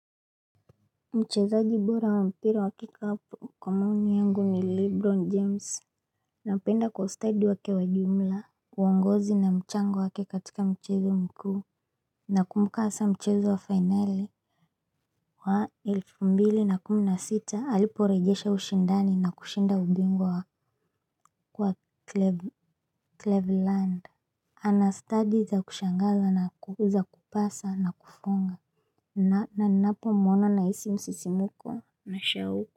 Mchezaji bora wa mpira wa kikapu kwa maoni yangu ni Lebron James. Napenda kwa ustadi wake wa jumla. Uongozi na mchango wake katika mchezo mkuu. Nakumbuka hasa mchezo wa fainali wa elfu mbili na kumi na sita aliporejesha ushindani na kushinda ubingwa Wa Cleveland. Ana stadi za kushangaza na kuweza kupasa na kufunga. Na ninapo mwona na hisi msisimuko na shauku.